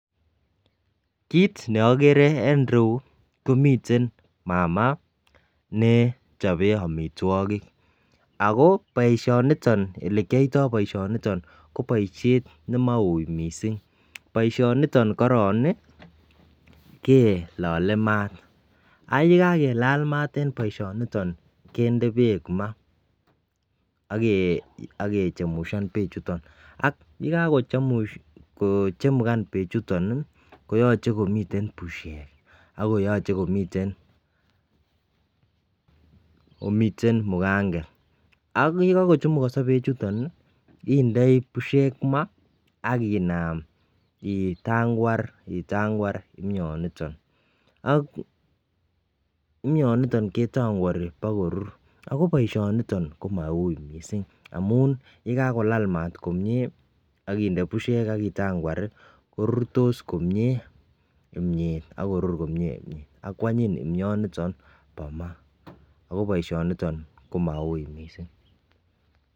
Kit neagere en ireyu agere mama nechope amitwagik ako olekiyoito boishoni kobaishen nemau mising baishoniton korong kelale mat koron ak yekakelal mat en baishoniton kende bek ma akechemshan bek chuton ak yekakechemshan bek chuton koyache komiten bushek ako yache komiten muganget ak yekakochumukoso bek chuton kendoi bushek akinam itangwar kimyaniton akokimyanitonbketangwati akakany korur amun yekakolal mat komie akinde bushes akitangwar korure komie kimiet akwanyin imnyaniyonbnebo mat ako baishoni niton komau mising